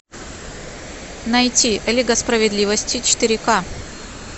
найти лига справедливости четыре ка